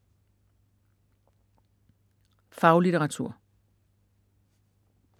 Faglitteratur